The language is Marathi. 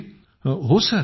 बापरेबाप